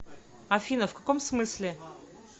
афина в каком смысле